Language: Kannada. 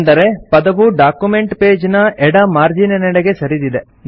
ಅಂದರೆ ಪದವು ಡಾಕ್ಯುಮೆಂಟ್ ಪೇಜ್ ನ ಎಡ ಮಾರ್ಜೀನಿನೆಡೆಗೆ ಸರಿದಿದೆ